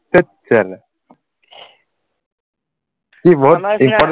থেত চালা কি বৰ